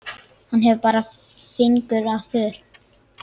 Hann bar fingur að vör.